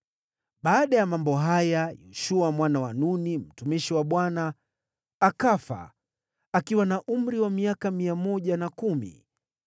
Baada ya mambo haya, Yoshua mwana wa Nuni, mtumishi wa Bwana akafa akiwa na umri wa miaka mia moja na kumi.